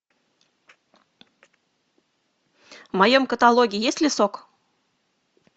в моем каталоге есть ли сок